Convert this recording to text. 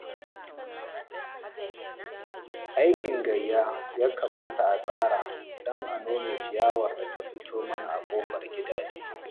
Aikin gayya ya kamata a tsara don a nome ciyawar da ta fito mana a ƙofar gidaje